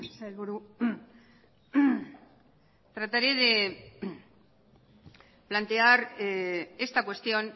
sailburu trataré de plantear esta cuestión